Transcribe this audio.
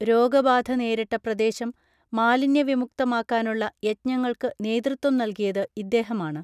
രോഗബാധ നേരിട്ട പ്രദേശം മാലിന്യ വിമുക്തമാക്കാനുള്ള യജ്ഞങ്ങൾക്കു നേതൃത്വം നൽകിയത് ഇദ്ദേഹമാണ്